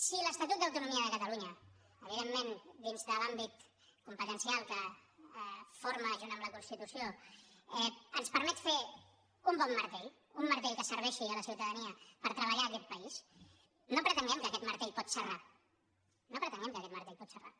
si l’estatut d’autonomia de catalunya evidentment dins de l’àmbit competencial que forma junt amb la constitució ens permet fer un bon martell un martell que serveixi a la ciutadania per treballar a aquest país no pretenguem que aquest martell pot serrar no pretenguem que aquest martell pot serrar